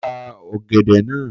Ko ni ka ògèdè náà